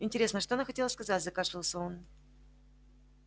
интересно что она хотела сказать закашлялся он